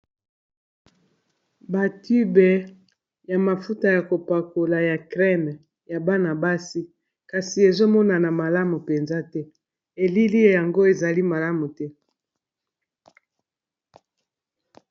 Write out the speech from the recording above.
Ba tubes ya mafuta ya ko pakola ya crème ya bana basi, kasi ezo monana malamu penza te, elili yango ezali malamu te .